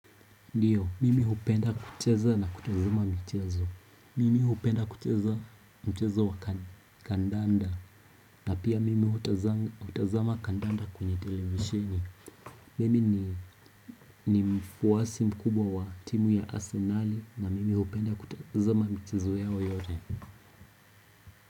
Ndiyo, mimi hupenda kucheza na kutazama mchezo. Mimi hupenda kucheza mchezo wa kandanda. Na pia mimi hupenda kutazama kandanda kwenye televisheni. Mimi ni mfuwasi mkubwa wa timu ya Arsenal na mimi hupenda kutazama mchezo yao yote.